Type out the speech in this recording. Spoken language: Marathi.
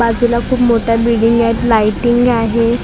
बाजूला खूप मोठ्या बिल्डिंगी आहेत लाईटींग आहे .